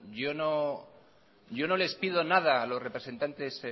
yo no les pido nada a los representantes